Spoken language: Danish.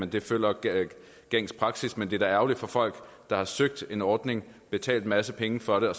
det følger gængs praksis men det er da ærgerligt for folk der har søgt en ordning og betalt en masse penge for det og